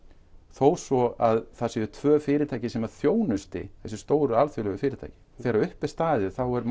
þó svo að það séu tvö fyrirtæki sem þjónusti þessi alþjóðlegu fyrirtæki þegar upp er staðið er